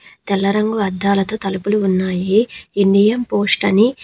తెల్లరంగు అద్దాలతో తలుపులు ఉన్నాయి. ఇండియం పోస్ట్ అని--